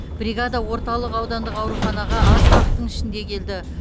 бригада орталық аудандық ауруханаға аз уақыттың ішінде келді